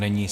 Není.